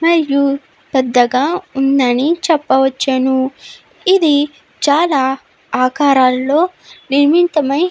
చాలా పెద్దగా ఉందని చెప్పవచ్చును. ఇది చాలా ఆకారాల్లో నిర్మితమై --